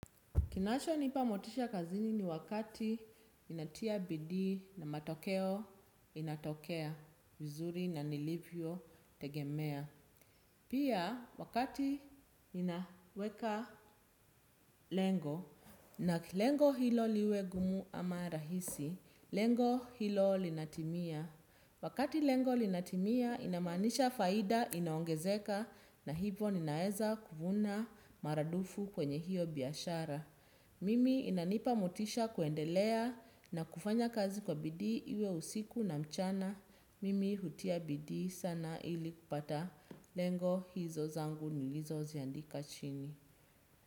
Kinacho nipa motisha kazini ni wakati ninatia bidii na matokeo inatokea vizuri na nilivyo tegemea. Pia wakati ninaweka lengo na lengo hilo liwe ngumu ama rahisi lengo hilo linatimia. Wakati lengo linatimia inamanisha faida inaongezeka na hivo ninaweza kuvuna maradufu kwenye hiyo biashara. Mimi inanipa motisha kuendelea na kufanya kazi kwa bidii iwe usiku na mchana. Mimi hutia bidii sana ili kupata lengo hizo zangu nilizo ziandika chini.